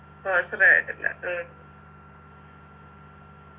ഓച്ചിറ ആയിട്ടില്ല ഉം